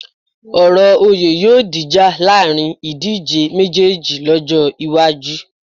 Ọ̀rọ̀ oyè yóò dìjà láàrin ìdíjé méjéèjì lọ́jọ́ iwájú